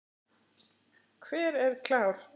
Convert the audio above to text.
Hver er klár?